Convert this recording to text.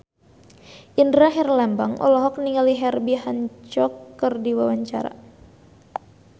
Indra Herlambang olohok ningali Herbie Hancock keur diwawancara